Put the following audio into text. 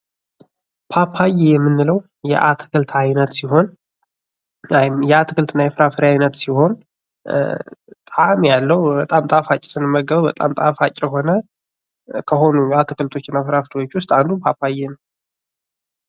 ፓፓዬ የምንለው የአትክልት ዓይነት ሲሆን የአትክልትና ፍራፍሬ አይነት ሲሆን ጣእም ያለው በጣም ጣፋጭ ስንመገበው በጣም ጣፋጭ የሆነ ከሆኑ አትክልትና ፍራፍሬዎች ውስጥ አንዱ ፓፓዬ ነው ።